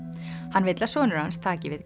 hann vill að sonur hans taki við